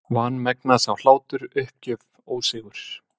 Vanmegna sá hlátur, uppgjöf, ósigur.